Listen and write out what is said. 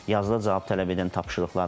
Yazıda cavab tələb edən tapşırıqlar var.